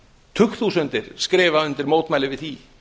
tugþúsundir skrifa undir mótmæli gegn því